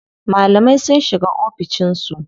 Malamai sun shiga oficin su.